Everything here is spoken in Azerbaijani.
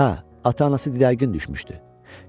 Hə, ata-anası didərgin düşmüşdü.